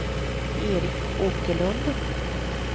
Eric Åkerlund